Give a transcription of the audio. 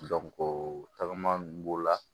tagama nunnu b'o la